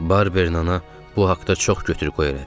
Barbernana bu haqda çox götür-qoy elədi.